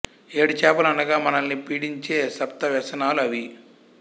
ఏడు చేపలు అనగా మనల్ని పీడించే సప్త వ్యసనాలు అవి